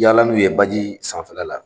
Yala n'u ye baji sanfɛla la